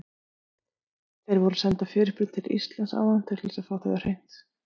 Þeir voru að senda fyrirspurn til Íslands áðan til þess að fá þetta á hreint.